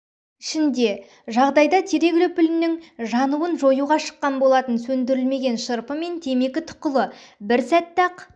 ішінде жағдайда терек үліпілінің жануын жоюға шыққан болатын сөндірілмеген шырпы пен темекі тұқылы бір сәтте-ақ